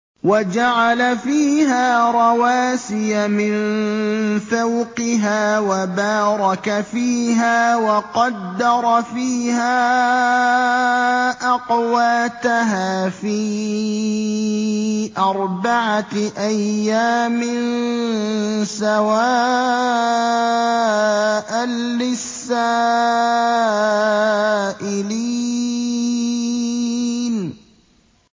وَجَعَلَ فِيهَا رَوَاسِيَ مِن فَوْقِهَا وَبَارَكَ فِيهَا وَقَدَّرَ فِيهَا أَقْوَاتَهَا فِي أَرْبَعَةِ أَيَّامٍ سَوَاءً لِّلسَّائِلِينَ